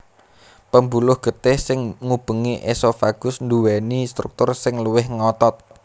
Pembuluh getih sing ngubengi esophagus nduwèni struktur sing luwih ngotot